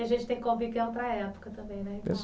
E a gente tem convívio em outra época também, né?